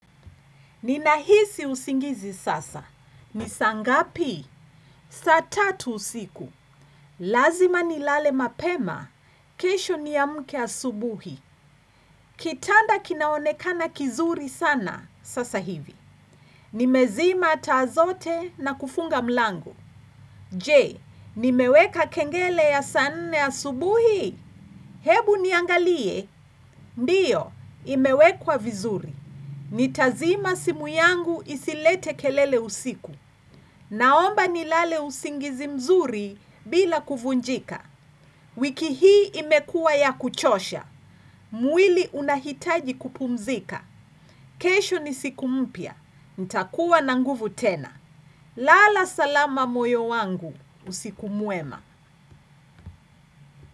Ninahisi usingizi sasa. Ni saa ngapi? Saa tatu usiku. Lazima ni lale mapema. Kesho ni amke asubuhi. Kitanda kinaonekana kizuri sana sasa hivi. Nimezima taa zote na kufunga mlango. Je, nimeweka kengele ya saa nne asubuhi. Hebu niangalie. Ndiyo, imewekwa vizuri. Nitazima simu yangu isilete kelele usiku. Naomba ni lale usingizi mzuri bila kuvunjika. Wiki hii imekuwa ya kuchosha. Mwili unahitaji kupumzika. Kesho ni siku mpya. Nitakuwa na nguvu tena. Lala salama moyo wangu. Usiku mwema.